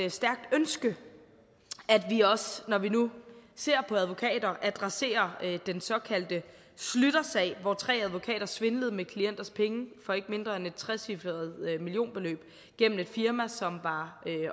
et stærkt ønske at vi også når vi nu ser på advokater adresserer den såkaldte schlütersag hvor tre advokater svindlede med klienters penge for ikke mindre end et trecifret millionbeløb gennem et firma som var